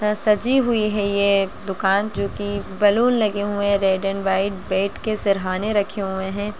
सजी हुई है ये दुकान जो की बैलून लगे हुए हैं रेड और व्हाइट बेड के सिरहाने रखे हुए हैं।